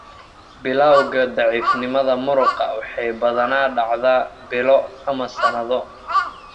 Bilawga daciifnimada muruqa waxay badanaa dhacdaa bilo ama sanado.